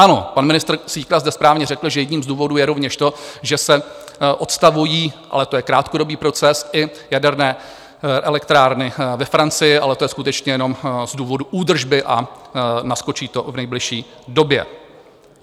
Ano, pan ministr Síkela zde správně řekl, že jedním z důvodů je rovněž to, že se odstavují - ale to je krátkodobý proces - i jaderné elektrárny ve Francii, ale to je skutečně jenom z důvodu údržby a naskočí to v nejbližší době.